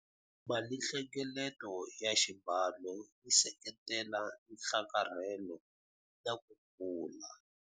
Malinhlengeleto ya xibalo yi seketela nhlakarhelo na ku kula.